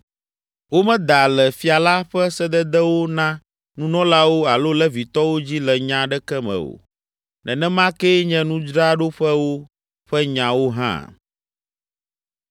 Womeda le fia la ƒe sededewo na nunɔlawo alo Levitɔwo dzi le nya aɖeke me o. Nenema kee nye nudzraɖoƒewo ƒe nyawo hã.